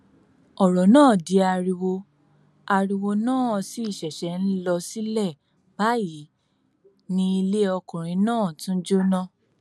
ọrọ náà di ariwo ariwo náà sì ṣẹṣẹ ń lọ sílẹ báyìí ni ilé ọkùnrin náà tún jóná